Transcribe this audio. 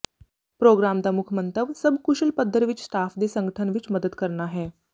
programme ਦਾ ਮੁੱਖ ਮੰਤਵ ਸਭ ਕੁਸ਼ਲ ਪੱਧਰ ਵਿੱਚ ਸਟਾਫ ਦੇ ਸੰਗਠਨ ਵਿਚ ਮਦਦ ਕਰਨਾ ਹੈ